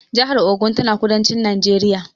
Jahar Ogun tana kudancin Najeriya